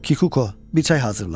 Kikuko, bir çay hazırla.